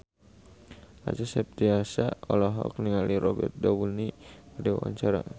Acha Septriasa olohok ningali Robert Downey keur diwawancara